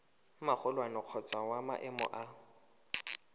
magolwane kgotsa wa maemo a